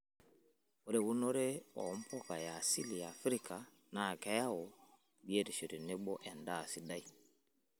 Ore eunore oompuka e asili e Afrika naa keyaue biotisho tenebo endaa sidai.